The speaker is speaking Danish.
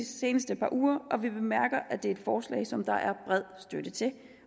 seneste par uger og vi bemærker at det er et forslag som der er bred støtte til